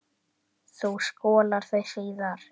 Þú skolar þau síðar.